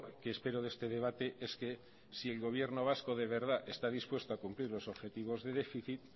que espero de este debate es que si el gobierno vasco de verdad está dispuesto a cumplir los objetivos de déficit